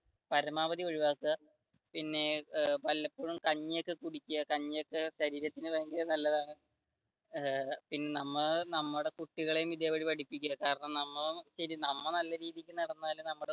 പരമാവധി ഒഴിവാക്കുക പിന്നെ വല്ലപ്പോഴും കഞ്ഞി ഒക്കെ കുടിക്കുക കഞ്ഞി ഒക്കെ ദഹനത്തിന് നല്ലതാണു നമ്മൾ നമ്മുടെ കുട്ടികൾ ഇതേപോലെ പഠിപ്പിക്കുക കാരണം നമ്മൾ നല്ല രീതിയിൽ നടന്നാലേ നമ്മടെ